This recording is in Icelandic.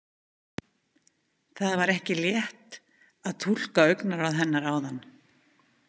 Það var ekki létt að túlka augnaráð hennar áðan.